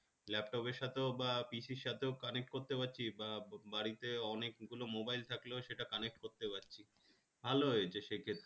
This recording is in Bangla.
laptop এর সাথে বা PC র সাথেও connect করতে পারছি বা বাড়িতে অনেকগুলো mobile থাকলে সেটা connect করতে পারছি ভালো হয়েছে সেক্ষেত্রে